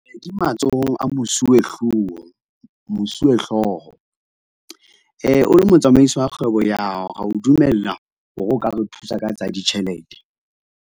Di matsohong a mosuwehlooho, mosuwehlooho. O le motsamaisi wa kgwebo ya hao, re ya o dumella hore o ka re thusa ka tsa ditjhelete.